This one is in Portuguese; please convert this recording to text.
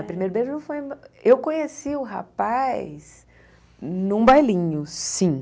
O primeiro beijo foi... Eu conheci o rapaz num bailinho, sim.